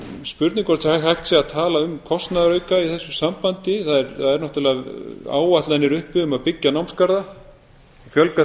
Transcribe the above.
spurning hvort hægt sé að tala um kostnaðarauka í þessu sambandi það eru náttúrlega áætlanir uppi um að byggja námsgarða fjölga